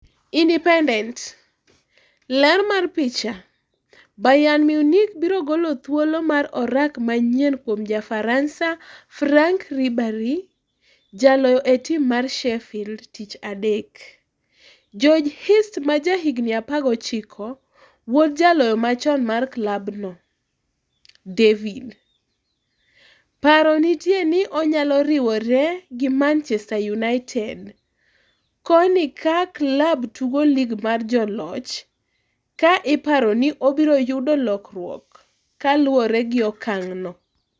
(Independent) Ler mar picha, Bayern Munich biro golo thuolo mar orak manyienkuom Ja Faransa Franck Ribery jaloyo e tim mar Sheffield tich adek- George Hirst ma ja higni 19 - wuod jaloyo machon mar klab no. David -paro nitie ni onyalo riwre gi Manchester United, koni ka klab tugo lig mar Joloch ka iparo ni obiro yudo lokruok kaluore gi okang' no.